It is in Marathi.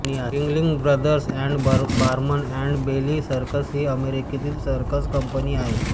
wriggling Brothers and Barnum and Bailey circus ही अमेरिकेतील सर्कस कंपनी आहे